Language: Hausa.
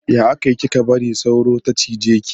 Ya aka yi kika bari sauro ta cije ki?